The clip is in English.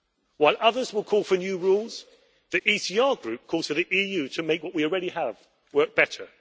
While others will call for new rules, the ECR Group calls for the EU to make what we already have work better.